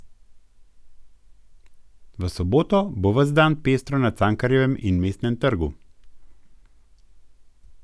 V soboto bo ves dan pestro na Cankarjevem in Mestnem trgu.